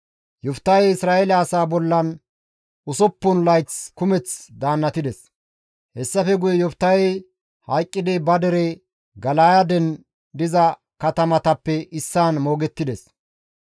Yoftahey Isra7eele asaa bollan usuppun layth kumeth daannatides; hessafe guye Yoftahey hayqqidi ba dere Gala7aaden diza katamatappe issaan moogettides.